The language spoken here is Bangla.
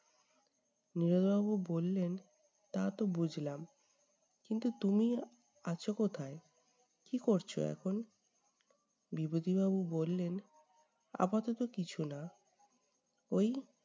নীরদ বাবু বললেন, তা তো বুঝলাম, কিন্তু তুমি আছ কোথায়? কী করছ এখন? বিভূতি বাবু বললেন- আপাতত কিছু না। ওই